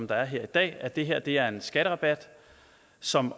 der er her i dag at det her er en skatterabat som